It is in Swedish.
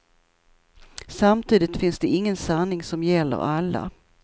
Samtidigt finns det ingen sanning som gäller alla.